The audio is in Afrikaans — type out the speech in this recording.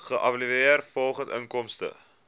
geëvalueer volgens inkomste